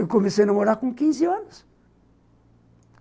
Eu comecei a namorar com quinze anos.